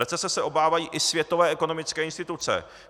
Recese se obávají i světové ekonomické instituce.